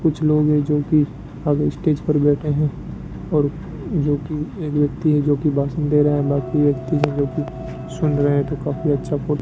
कुछ लोग हैं जोकि आगे स्टेज पर बैठे हैं और जोकि एक व्यक्ति है जोकि भाषण दे रहे हैं बाकी व्यक्ति सुन रहे तो काफी अच्छा फी --